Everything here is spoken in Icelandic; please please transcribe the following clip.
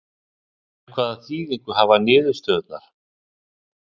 En hvaða þýðingu hafa niðurstöðurnar?